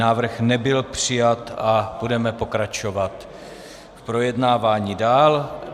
Návrh nebyl přijat a budeme pokračovat v projednávání dál.